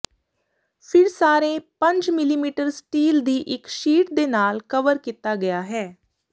ਫਿਰ ਸਾਰੇ ਪੰਜ ਮਿਲੀਮੀਟਰ ਸਟੀਲ ਦੀ ਇੱਕ ਸ਼ੀਟ ਦੇ ਨਾਲ ਕਵਰ ਕੀਤਾ ਗਿਆ ਹੈ